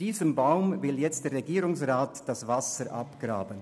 Diesem Baum will jetzt der Regierungsrat das Wasser abgraben.